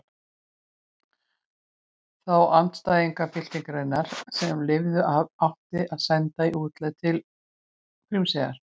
Þá andstæðinga byltingarinnar sem lifðu af átti að senda í útlegð til Grímseyjar.